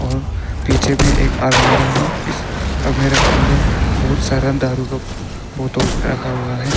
और पीछे में एक अलमीरा है। इस अलमीरा के अंदर बहुत सारा दारू का बोतल रखा हुआ है।